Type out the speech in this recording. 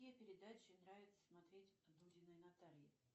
какие передачи нравиться смотреть дудиной наталье